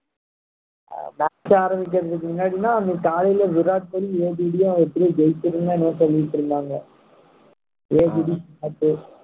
match ஆரம்பிக்கிறதுக்கு முன்னாடிலாம் அந்த காலையில விராட் கோலி எப்படியோ ஜெயிச்சிருந்தானு என்னமோ சொல்லிட்டு இருந்தாங்க